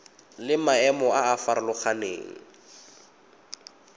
le maemo a a farologaneng